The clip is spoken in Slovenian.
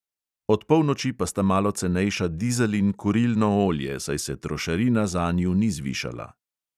Od polnoči pa sta malo cenejša dizel in kurilno olje, saj se trošarina zanju ni zvišala.